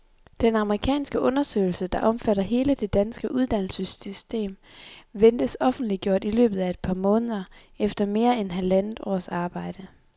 Den amerikanske undersøgelse, der omfatter hele det danske uddannelsessystem, ventes offentliggjort i løbet af et par måneder, efter mere end halvandet års arbejde.